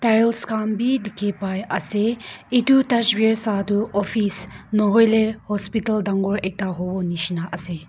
Tiles khan bi dekhi pai ase etu dusfear satu office nahoile hospital dangor ekta hobo neshina ase.